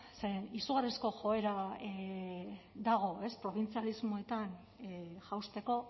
zeren izugarrizko joera dago probintzialismoetan jausteko